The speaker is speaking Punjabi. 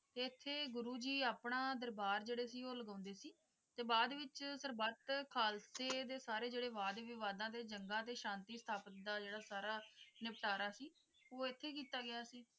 ਇਥੇ ਗੁਰੂ ਜੀ ਆਪਣਾ ਦਰਬਾਰ ਕੇਸਰੀ ਸੀ ਉਹ ਲਗਵਾਉਂਦੇ ਸੀ ਤੇ ਬਾਅਦ ਵਿੱਚ ਸਰਬੱਤ ਖਾਲਸੇ ਦੇ ਸਾਰੇ ਵਾਦ-ਵਿਵਾਦ ਏਜੰਟਾਂ ਤੇ ਸ਼ਾਂਤੀ ਸਥਾਪਤ ਦਾ ਸਾਰਾ ਨਿਪਟਾਰਾ ਸੀ ਉਹ ਇੱਥੇ ਕੀਤਾ ਗਿਆ ਸੀ